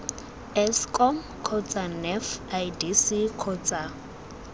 eskom kgotsa nef idc kgotsa